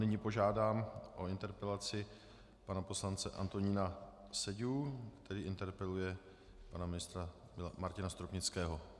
Nyní požádám o interpelaci pana poslance Antonína Seďu, který interpeluje pana ministra Martina Stropnického.